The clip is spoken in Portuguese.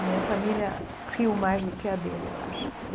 A minha família riu mais do que a dele, eu acho.